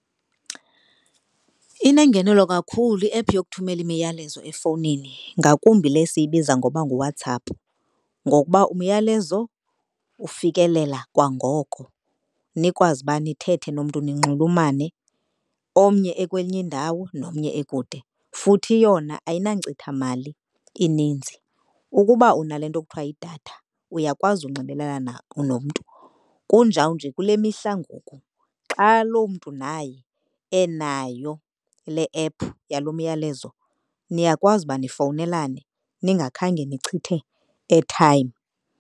Inengenelo kakhulu i-app yokuthumela imiyalezo efowunini ngakumbi le siyibiza ngoba nguWhatsApp ngokuba umyalezo ufikelela kwangoko nikwazi uba nithethe nomntu ninxulumane omnye ekwenye indawo nomnye ekude, futhi yona ayinankcitha mali ininzi. Ukuba unale nto kuthiwa yidatha uyakwazi ukunxibelelana nomntu, kunjawunje kule mihla ngoku xa lo mntu naye enayo le app yalo myalezo niyakwazi uba nifowunelane ningakhange nichithe airtime.